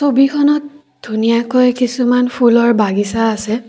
ছবিখনত ধুনীয়াকৈ কিছুমান ফুলৰ বাগিছা আছে।